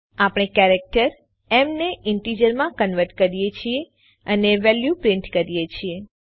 આપણે કેરેક્ટર એમ ને ઈન્ટીજરમાં કન્વર્ટ કરીએ છીએ અને વેલ્યુ પ્રિન્ટ કરીએ છીએ